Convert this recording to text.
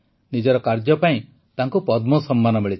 ନିଜର କାର୍ଯ୍ୟ ପାଇଁ ତାଙ୍କୁ ପଦ୍ମ ସମ୍ମାନ ମିଳିଛି